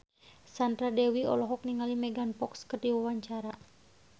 Sandra Dewi olohok ningali Megan Fox keur diwawancara